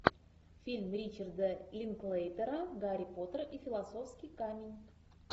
фильм ричарда линклейтера гарри поттер и философский камень